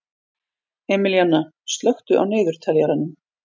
Emilíanna, slökktu á niðurteljaranum.